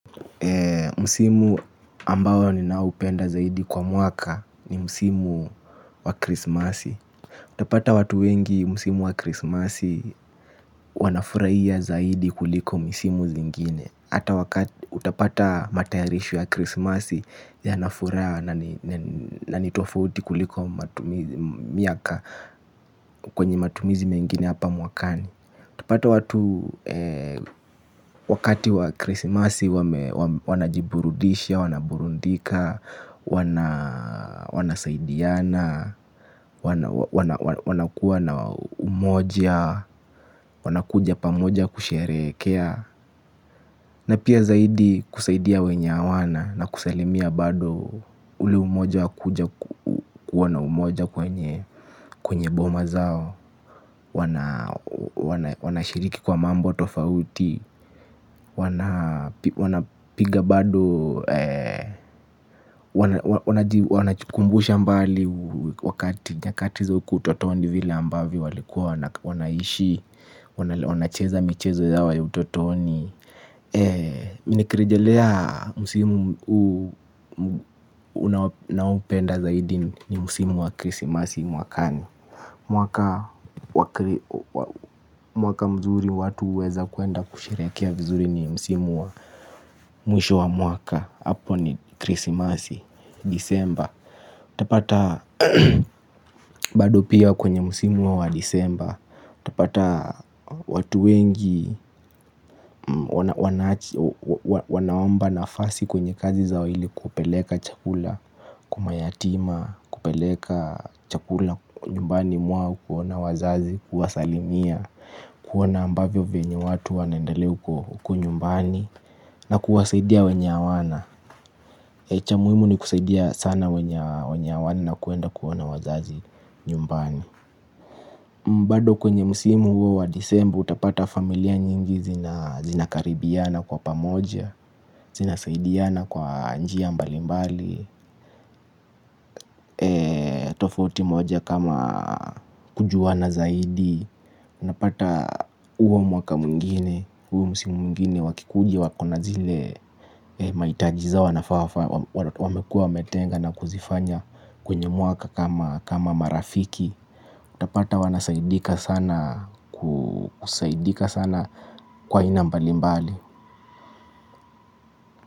Msimu ambao ninaupenda zaidi kwa mwaka ni msimu wa krismasi. Utapata watu wengi msimu wa krismasi wanafurahia zaidi kuliko misimu zingine. Hata wakati utapata matayarisho ya krismasi yana furaha na nitofauti kuliko matumizi miaka kwenye matumizi mengine hapa mwakani utapata watu wakati wa krisimasi wanajiburudisha, wanaburndika, wanasaidiana, wana kuwa na umoja, wanakuja pamoja kusherehekea. Na pia zaidi kusaidia wenye hawana na kusalimia bado ule umoja kwenye boma zao. Wanashiriki kwa mambo tofauti. Wanapiga bado, wanajikumbusha mbali wakati. Nyakati za huko utotoni vile ambavyo walikuwa, wanaishi, wanacheza michezo yao ya utotoni. Mimi nikirijelea msimu mkuu naoupenda zaidi ni msimu wa krisimasi mwakani. Mwaka mzuri watu huweza kuenda kusherehekea mzuri ni msimu wa mwisho wa mwaka hApo ni krisimasi disemba. Utapata bado pia kwenye msimu wa disemba utapata watu wengi wanaomba nafasi kwenye kazi zao ili kupeleka chakula. Kwa mayatima, kupeleka chakula nyumbani mwao kuona wazazi, kuwasalimia kuona ambavyo venye watu wanaendelea huko nyumbani. Na kuwasaidia wenye hawana cha muhimu ni kusaidia sana wenye hawana na kuenda kuona wazazi nyumbani bado kwenye msimu huo wa disemba utapata familia nyingi zinakaribiana kwa pamoja, zinasaidiana kwa njia mbalimbali, tofauti moja kama kujuana zaidi. Unapata huo mwaka mwingine, huo msimu mwingine wakikuja wakona zile mahitaji zao wanafaa, wamekuwa wametenga na kuzifanya kwenye mwaka kama marafiki. utapata wanasaidika sana kusaidika sana kwa aina mbali mbali.